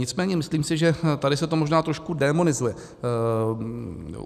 Nicméně myslím si, že tady se to možná trošku démonizuje.